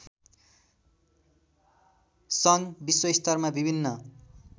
सङ्घ विश्वस्तरमा विभिन्न